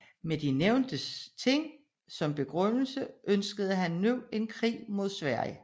Med de nævnte sager som begrundelse ønskede han nu en krig med Sverige